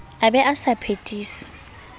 a be a sa phethise